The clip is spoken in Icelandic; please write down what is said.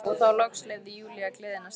Og þá loks leyfði Júlía gleðinni að streyma.